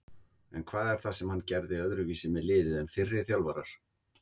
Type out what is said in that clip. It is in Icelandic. En hvað er það sem hann gerði öðruvísi með liðið en fyrri þjálfarar?